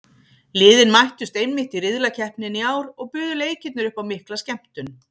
Liðin mættust einmitt í riðlakeppninni í ár og buðu leikirnir upp á mikla skemmtun.